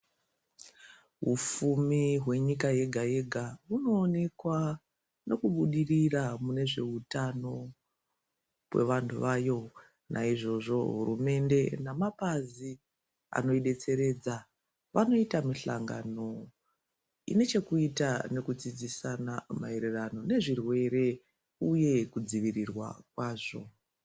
Ufumi hwenyika yega yega hunoonekwa nokubudirira munezveutano kwevanhu vayo. Naizvozvo, hurumende nemapazi anoibetseredza vanoita mihlangano ine chokuita nekudzidzisana maererano nezvirwere uye kudzivirirwa kwazvo.